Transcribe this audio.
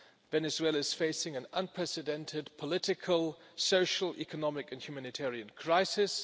Venezuela is facing an unprecedented political, social, economic and humanitarian crisis.